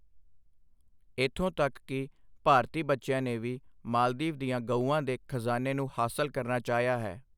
ਇੱਥੋਂ ਤੱਕ ਕਿ ਭਾਰਤੀ ਬੱਚਿਆਂ ਨੇ ਵੀ ਮਾਲਦੀਵ ਦੀਆਂ ਗਊਆਂ ਦੇ ਖਜ਼ਾਨੇ ਨੂੰ ਹਾਸਲ ਕਰਨਾ ਚਾਹਿਆ ਹੈ।